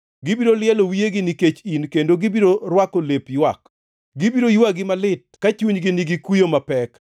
Gibiro lielo wiyegi nikech in kendo gibiro rwako lep ywak. Gibiro ywagi malit ka chunygi nigi kuyo mapek.